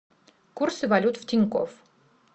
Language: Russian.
курсы валют в тинькофф